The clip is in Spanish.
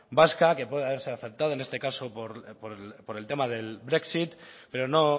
vasca que pueda haberse afectado en este caso por el tema del brexit pero no